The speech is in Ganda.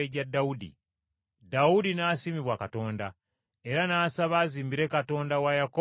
Dawudi n’asiimibwa Katonda, era n’asaba azimbire Katonda wa Yakobo ennyumba.